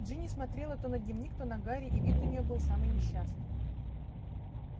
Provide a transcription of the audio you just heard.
джинни смотрела то на дневник то на гарри и вид у нее был самый несчастный